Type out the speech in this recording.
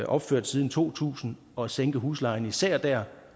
opført siden to tusind og sænke huslejen især dér